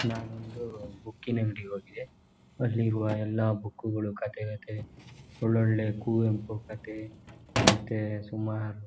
ನನ್ ಒಂದು ಬುಕ್ ಕ್ಕಿನ ಅಂಗಡಿಗೆ ಹೋಗಿದ್ದೆ ಅಲ್ಲಿ ಇರುವ ಎಲ್ಲ ಬುಕ್ ಗಳು ಕಥೆ ಗೀತೆ ಒಳ್ ಒಳ್ಳೆ ಕುವೆಂಪು ಕಥೆ ಮತ್ತೆ ಸುಮಾರು--